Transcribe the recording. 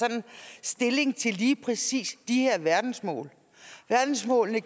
stilling til lige præcis de her verdensmål verdensmålene